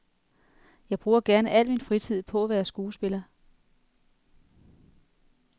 Jeg bruger gerne al min fritid på at være skuespiller.